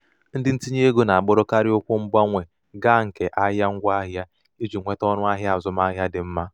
ndị ntinyeego na-agbadokarị ụkwụ mgbanwe ga nke ahịa ngwaahịa iji nweta ọnụahịa azụmahịa dị mma.